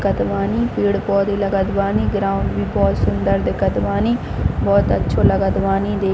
कत बानी पेड़-पौधे लगत बानी ग्राउंड भी बहोत सुन्दर दिखत बानी बहोत अच्छो लगत बानी देख--